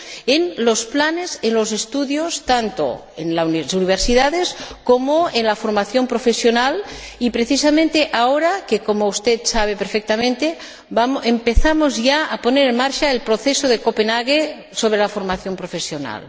en los planes, en los estudios, tanto en las universidades como en la formación profesional, precisamente ahora que, como usted sabe perfectamente, empezamos ya a poner en marcha el proceso de Copenhague sobre la formación profesional?